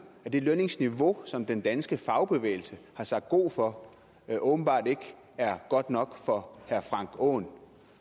det lønniveau som den danske fagbevægelse har sagt god for åbenbart ikke er godt nok for herre frank aaen